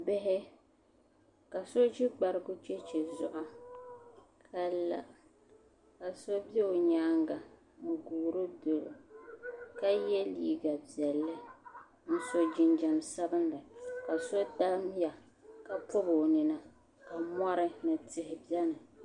Bihi ka so ʒi gbarigu cheche zuɣu ka la so be o nyaanga n guuri dɔli o ka yɛ liiga piɛlli n so jinjam sabinli ka so damya ka pɔbi o nina ka mɔri ni tihi beni.